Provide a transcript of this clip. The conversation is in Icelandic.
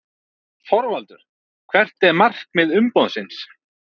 ÞORVALDUR: Hvert er markmið umboðsins?